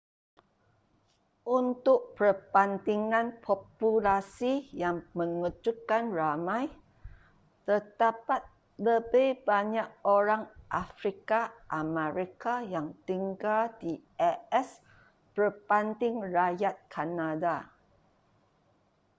untuk perbandingan populasi yang mengejutkan ramai terdapat lebih banyak orang afrika amerika yang tinggal di as berbanding rakyat kanada